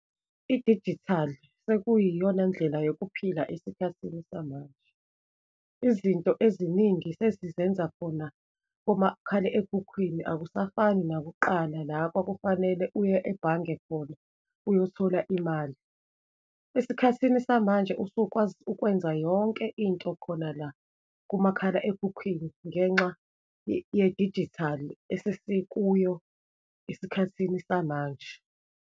Idijithali sekuyiyona ndlela yokuphila esikhathini samanje. Izinto eziningi sesizenza khona komakhale ekhukhwini, akusafani nakuqala, la kwakufanele uye ebhange khona uyothola imali. Esikhathini samanje, usukwazi ukwenza yonke into khona la kumakhala ekhukhwini ngenxa yedijithali esesikuyo esikhathini samanje.